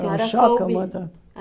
Senhora soube Foi um choque. Ãh